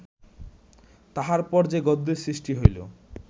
তাঁহার পর যে গদ্যের সৃষ্টি হইল